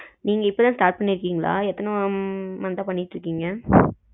நீங்க இப்போ தான் start பண்ணி இருக்கீங்களா எத்தன month அ பண்ணிக்கிட்டு இருக்கீங்க